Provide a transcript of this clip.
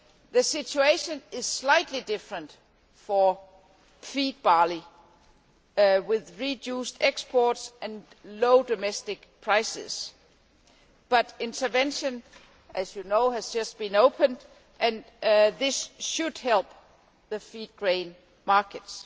The situation is slightly different for feed barley, with reduced exports and low domestic prices, but intervention as you know has just been opened, and this should help the feed grain markets.